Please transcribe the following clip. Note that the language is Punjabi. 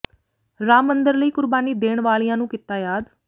ਰਾਮ ਮੰਦਰ ਲਈ ਕੁਰਬਾਨੀ ਦੇਣ ਵਾਲਿਆਂ ਨੂੰ ਕੀਤਾ ਯਾਦ